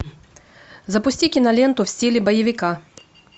запусти киноленту в стиле боевика